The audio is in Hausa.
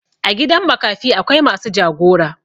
A gidan makafi akwai masu jagora.